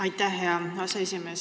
Aitäh, hea aseesimees!